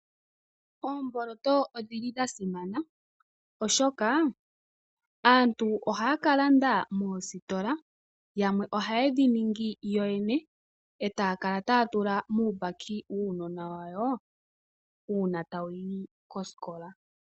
Oomboloto odhili dhasimana oshoka aantu ohaya kalanda moositola, yamwe ohayedhi ningi yoyene etaya kala taya tula muumbaki wuunona wayo, uuna tawuyi kosikola.